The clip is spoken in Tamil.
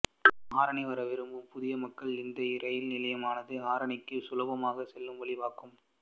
ஆரணி வர விரும்பும் புதிய மக்கள் இந்த இரயில் நிலையமானது ஆரணிக்குச் சுலபமாக செல்ல வழி வகுக்கும்